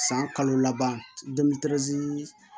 San kalo laban